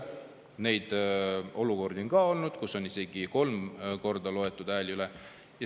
Neid olukordi on ka olnud, kus on isegi kolm korda hääled üle loetud.